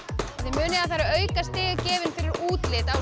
munið að það eru aukastig gefin fyrir útlit á